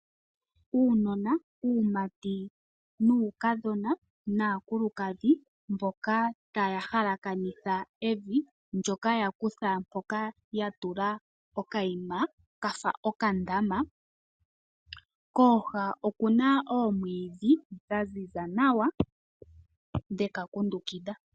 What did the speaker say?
Uunona wuumati nuukadhona, naakulukadhi mboka taya halakanitha evi ndoka ya kutha mpoka ya tula okayima kafa okandama, kooha okuna oomwiidhi dha ziza nawa, dhe ka kundukidha.